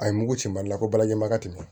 A ye mugu cɛ mali la ko balajɛ ma ka tɛmɛ ten